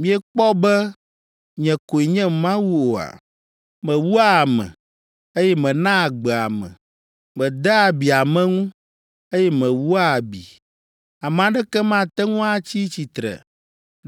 Miekpɔ be nye koe nye Mawu oa? Mewua ame, eye menaa agbe ame. Medea abi ame ŋu, eye mewua abi. Ame aɖeke mate ŋu atsi tsitre